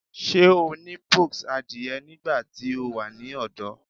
Ṣe o ni pox adie nigbati o wa ni ọdọ?